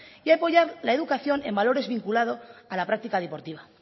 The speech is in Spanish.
y apoyar la educación en valores vinculados a la práctica deportiva